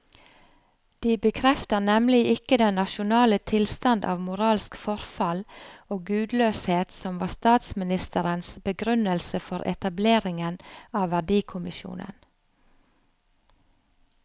De bekrefter nemlig ikke den nasjonale tilstand av moralsk forfall og gudløshet som var statsministerens begrunnelse for etableringen av verdikommisjonen.